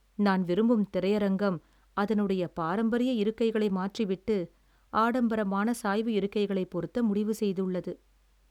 நான் விரும்பும் திரையரங்கம் அதனுடைய பாரம்பரிய இருக்கைகளை மாற்றிவிட்டு ஆடம்பரமான சாய்வு இருக்கைகளை பொருத்த முடிவு செய்துள்ளது.